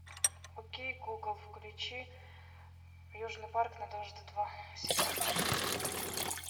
окей гугл включи южный парк на дважды два сериал